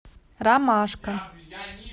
ромашка